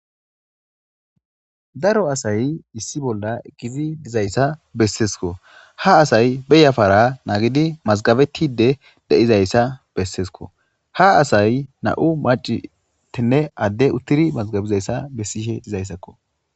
daro asay issi bolla ekkizi dizayssa besseesko ha asay beyafara naagidi mazgabettide de7izayssa bessesko ha asay na7u macitinne adde uttiri mazgabizayssa bessihe dizayssakko